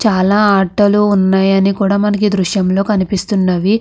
చాలా ఆటలు ఉన్నయి అని కూడా మనకి ఈ దృశ్యం లో కనిపిస్తున్నవి.